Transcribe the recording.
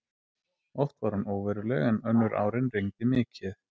Oft var hún óveruleg en önnur árin rigndi mikið.